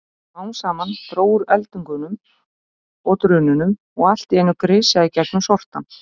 Smám saman dró úr eldingunum og drununum og allt í einu grisjaði gegnum sortann.